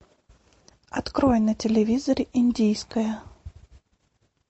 открой на телевизоре индийское